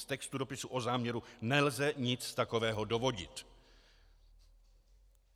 Z textu dopisu o záměru nelze nic takového dovodit.